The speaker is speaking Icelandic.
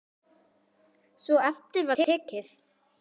Svo eftir var tekið.